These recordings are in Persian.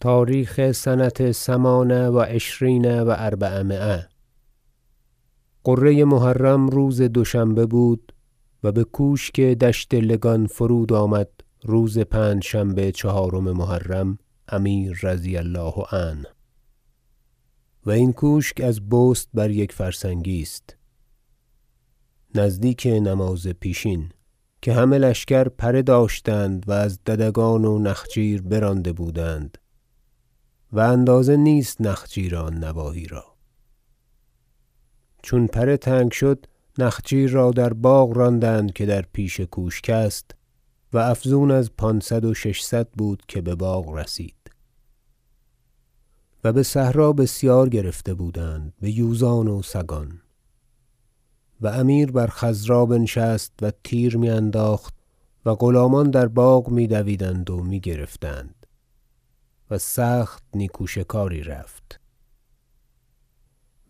تاریخ سنه ثمان و عشرین و اربعمایه غره محرم روز دوشنبه بود و بکوشک دشت لگان فرود آمد روز پنجشنبه چهارم محرم امیر رضی الله عنه و این کوشک از بست بر یک فرسنگی است نزدیک نماز پیشین که همه لشکر پره داشتند و از ددگان و نخچیر برانده بودند- و اندازه نیست نخچیر آن نواحی را- چون پره تنگ شد نخچیر را در باغ راندند که در پیش کوشک است و افزون از پانصد و ششصد بود که بباغ رسید و بصحرا بسیار گرفته بودند بیوزان و سگان و امیر بر خضرا بنشست و تیر میانداخت و غلامان در باغ میدویدند و میگرفتند و سخت نیکو شکاری رفت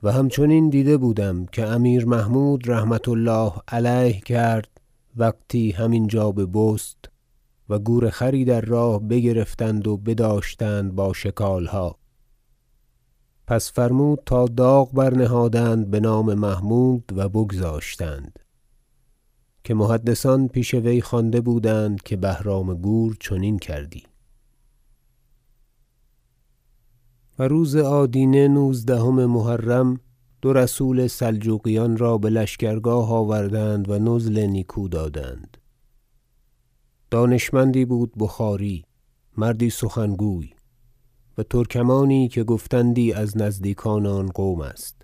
و همچنین دیده بودم که امیر محمود رحمة الله علیه کرد وقتی هم اینجا به بست و گورخری در راه بگرفتند و بداشتند باشکالها پس فرمود تا داغ برنهادند بنام محمود و بگذاشتند که محدثان پیش وی خوانده بودند که بهرام گور چنین کردی و روز آدینه نوزدهم محرم دو رسول سلجوقیان را بلشکرگاه آوردند و نزل نیکو دادند دانشمندی بود بخاری مردی سخنگوی و ترکمانی که گفتندی از نزدیکان آن قوم است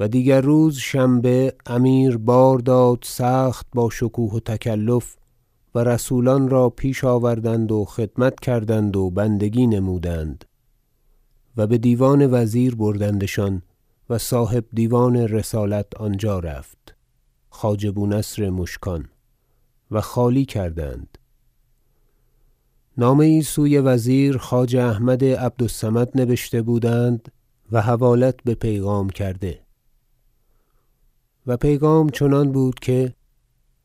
و دیگر روز شنبه امیر بار داد سخت با شکوه و تکلف و رسولان را پیش آوردند و خدمت کردند و بندگی نمودند و بدیوان وزیر بردندشان و صاحب دیوان رسالت آنجا رفت خواجه بونصر مشکان و خالی کردند نامه یی سوی وزیر خواجه احمد عبد الصمد نبشته بودند و حوالت به پیغام کرده و پیغام چنان بود که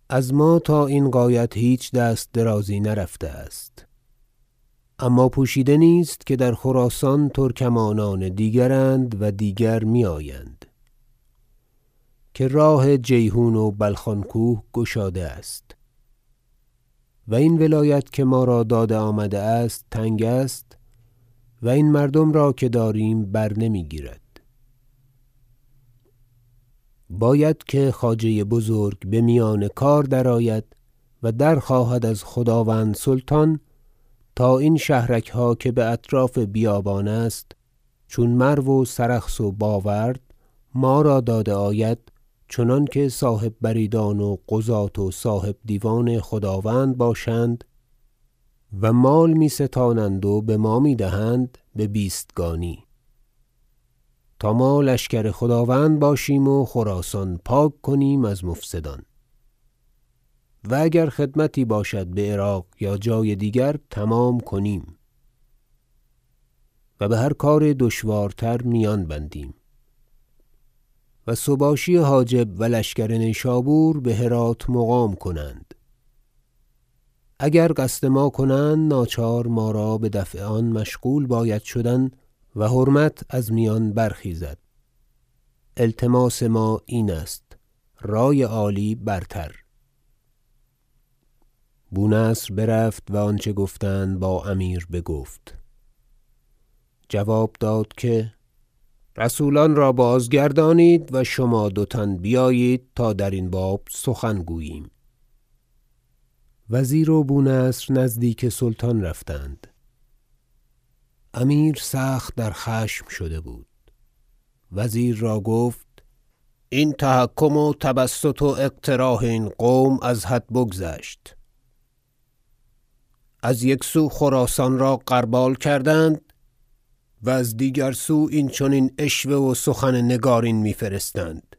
از ما تا این غایت هیچ دست درازی نرفته است اما پوشیده نیست که در خراسان ترکمانان دیگراند و دیگر میآیند که راه جیحون و بلخان کوه گشاده است و این ولایت که ما را داده آمده است تنگ است و این مردم را که داریم برنمیگیرد باید که خواجه بزرگ بمیان کار درآید و درخواهد از خداوند سلطان تا این شهرکها که باطراف بیابان است چون مرو و سرخس و باورد ما را داده آید چنانکه صاحب بریدان و قضاة و صاحب دیوان خداوند باشند و مال می ستانند و بما میدهند به بیستگانی تا ما لشکر خداوند باشیم و خراسان پاک کنیم از مفسدان و اگر خدمتی باشد بعراق یا جای دیگر تمام کنیم و بهر کار دشوارتر میان بندیم و سباشی حاجب و لشکر نیشابور بهرات مقام کنند اگر قصد ما کنند ناچار ما را بدفع آن مشغول باید شدن و حرمت از میان برخیزد التماس ما این است رای عالی برتر بونصر برفت و آنچه گفتند با امیر بگفت جواب داد که رسولان را بازگردانید و شما دو تن بیایید تا درین باب سخن گوییم وزیر و بونصر نزدیک سلطان رفتند امیر سخت در خشم شده بود وزیر را گفت این تحکم و تبسط و اقتراح این قوم از حد بگذشت از یک سو خراسان را غربال کردند و از دیگر سو این چنین عشوه و سخن نگارین میفرستند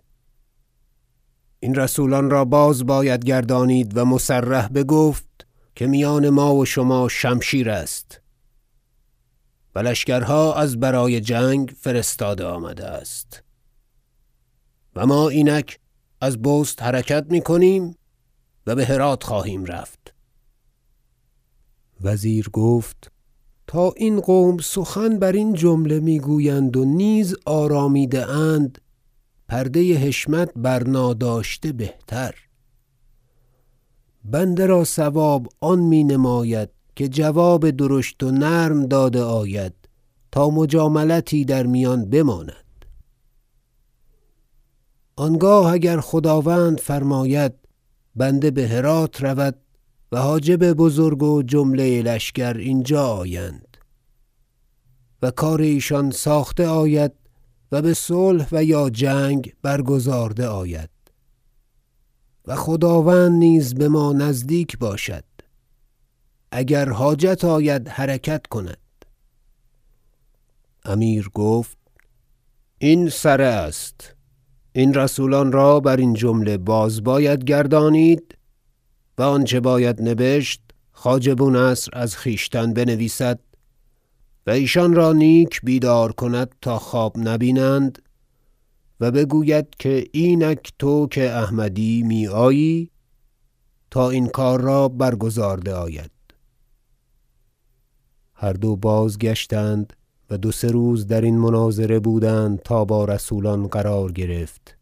این رسولان را باز باید گردانید و مصرح بگفت که میان ما و شما شمشیر است و لشکرها از برای جنگ فرستاده آمده است و ما اینک از بست حرکت میکنیم و بهرات خواهیم رفت وزیر گفت تا این قوم سخن برین جمله میگویند و نیز آرمیده اند پرده حشمت برناداشته بهتر بنده را صواب آن می نماید که جواب درشت و نرم داده آید تا مجاملتی در میان بماند آنگاه اگر خداوند فرماید بنده بهرات رود و حاجب بزرگ و جمله لشکر اینجا آیند و کار ایشان ساخته آید و بصلح و یا جنگ برگزارده آید و خداوند نیز بما نزدیک باشد اگر حاجت آید حرکت کند امیر گفت این سره است این رسولان را برین جمله باز باید گردانید و آنچه باید نبشست خواجه بونصر از خویشتن بنویسد و ایشان را نیک بیدار کند تا خواب نبینند و بگوید که اینک تو که احمدی میآیی تا این کار را برگزارده آید هر دو بازگشتند و دو سه روز درین مناظره بودند تا با رسولان قرار گرفت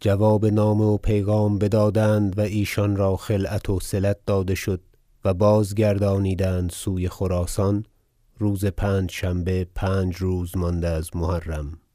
جواب نامه و پیغام بدادند و ایشان را خلعت وصلت داده شد و بازگردانیدند سوی خراسان روز پنجشنبه پنج روز مانده از محرم